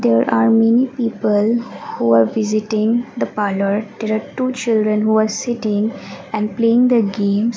there are many people who are visiting the parlour there are two children who are sitting and playing the games.